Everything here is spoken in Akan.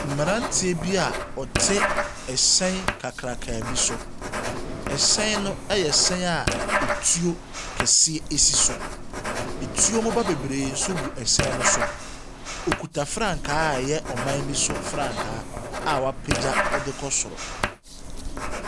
Mmeranteɛ bi a ɔte hyɛn kakraka bi so. Hyɛn no yɛ hyɛn a etuo kɛseɛ si so. Etuo mmoba bebree nso gu hyɛn no so. Ɔkuta frankaa a ɛyɛ ɔman bi so frankaa a wapagya de kɔ soro.